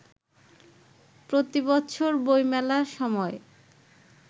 প্রতিবছর বইমেলার সময়